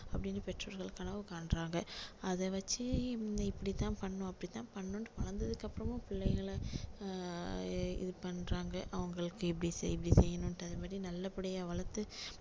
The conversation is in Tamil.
அப்படின்னு பெற்றோர்கள் கனவு காண்றாங்க அதை வச்சி இப்படி தான் பண்ணணும் அப்படி தான் பண்ணணும்னுட்டு வளர்ந்ததுக்கு அப்பறமும் பிள்ளைகளைஆஹ் இது பண்றாங்க அவங்களுக்கு இப்படி செய் இப்படி செய்யணும்னுட்டு அதே மாதிரி நல்லபடியா வளர்த்து